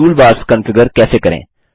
toolbars configure कैसे करें